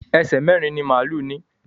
Èṣe mérin-ín ni málù ní.